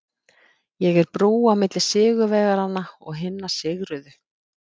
Ég er brú á milli sigurvegaranna og hinna sigruðu.